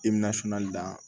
I bɛna finan da